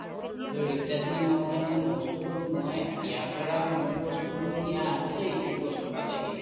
কিন্তু replacement মাৰোতে মানে বস্তুটো মই ইয়াৰ পৰা মোৰ বস্তুটো নিয়াৰ আগতে এইটো বস্তু পালেহি